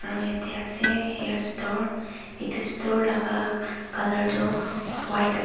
aru yatte ase hair store etu store laga colour tu white ase.